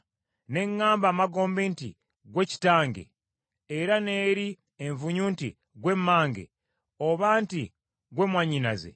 ne ŋŋamba amagombe nti, ‘Ggwe kitange,’ era n’eri envunyu nti, ‘Ggwe mmange,’ oba nti, ‘Ggwe mwannyinaze,’